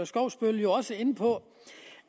skovsby jo også inde på